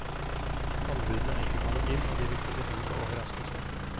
Anbudene er ikke kommet inn, og de vil kunne by på overraskelser.